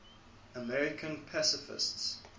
american pacifists